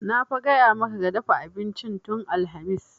Na fa gaya maka ka dafa abincin tun alhamis!